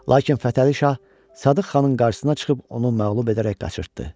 Lakin Fətəli Şah Sadıq xanın qarşısına çıxıb onu məğlub edərək qaçırtdı.